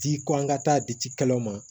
Di ko an ka taa di cikɛlaw ma